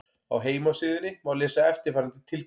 Á heimasíðunni má lesa eftirfarandi tilkynningu